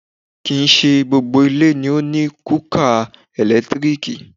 Kìíse gbogbo ilé ló ní kúúkà ẹ̀lẹ́tírìkì